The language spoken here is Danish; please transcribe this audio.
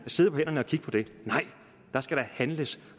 sidde på hænderne og kigge på det nej der skal da handles